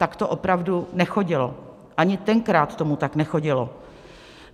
Tak to opravdu nechodilo, ani tenkrát to tak nechodilo.